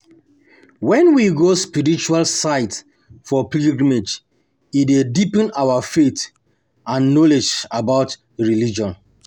When we go spiritual sites for pilgrimage e dey deepen our faith and knowledge about our religion